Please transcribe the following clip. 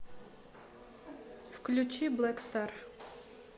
включи блэк стар